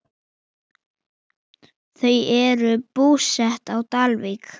Þau eru búsett á Dalvík.